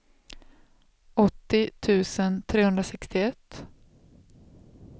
åttio tusen trehundrasextioett